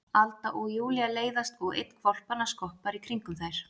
Alda og Júlía leiðast og einn hvolpanna skoppar í kringum þær.